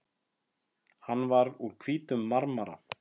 Hann var úr hvítum marmara.